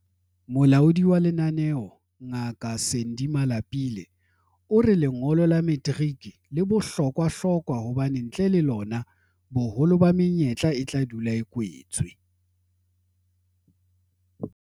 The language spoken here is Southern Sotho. Molaodi wa lenaneo, Ngaka Sandy Malapile, o re lengolo la materiki le bohlokwahlokwa hobane ntle le lona, boholo ba menyetla e tla dula a kwetswe.